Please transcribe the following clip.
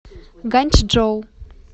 ганьчжоу